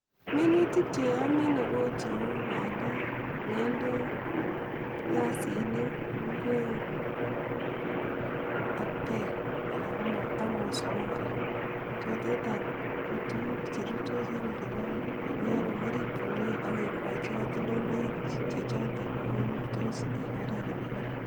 Minutik che omine ko cheu pandek, ngendek, piasinik, inguek ak peek anan komosonik, koraa, choten anch kotukuk cherurtos en oliinyon ak yon kokirip komie ak kikochi kotoltoloik chechoton korurtos en oret nemii parak.